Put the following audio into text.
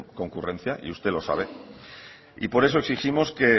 concurrencia y usted lo sabe y por eso exigimos que